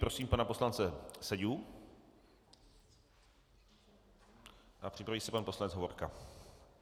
Prosím pana poslance Seďu a připraví se pan poslanec Hovorka.